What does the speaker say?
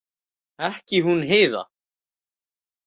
Ekki hún Heiða.